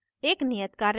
एक नियत कार्य में